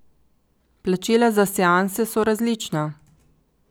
Plačila za seanse so različna.